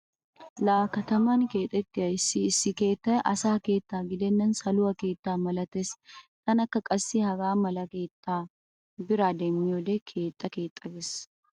Laa kataman keexettiya issi issi keettay asa keetta gidennan saluwa keetta malatees. Tanakka qassi hegaa mala keettaa bira demmiyode keexxa keexxa gees.